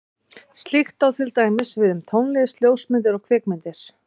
Slíkt á til dæmis við um tónlist, ljósmyndir og kvikmyndir.